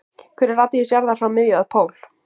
Hver er radíus jarðar frá miðju að pól?